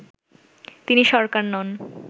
তিনি সরকার নন